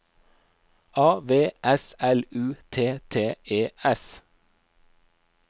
A V S L U T T E S